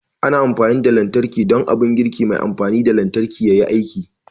Ana amfani da lantarki don abun girki mai amfani da lantarki yayi aiki